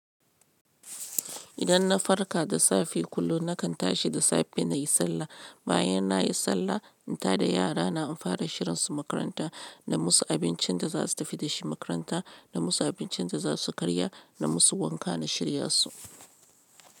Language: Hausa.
Idan na farka da safe kullun nakan tashi da safe nayi sallah. Bayan nayi sallah in tada yarana an fara shirinsu makaranta, na musu abincin da za su tafi da shi makaranta, na musu abincin da za su karya na musu wanka na shirya su.